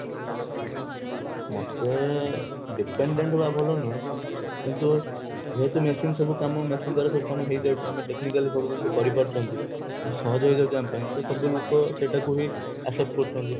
ମତେ dependent ହବ ଭଲ ନୁହେ ଯେହେତୁ machine ସବୁ କାମ machine ଦ୍ଵାରା ସବୁ କାମ ହେଇଯାଉଛି ଆମେ technically ସବୁ ଜିନିଷ କରିପାରୁଚେ ତେଣୁ ସହଜ ହେଇଯାଉଛି ଆମ ପାଇଁ ତ ସବୁବେଳେ ଲୋକ ସେଇଟା କୁ ହି accept କରୁଛନ୍ତି